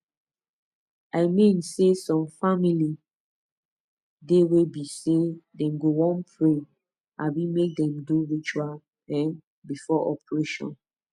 i mean saysome family dey wey be say dem go wan pray abi make dem do ritual um before operation